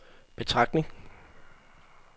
betragtning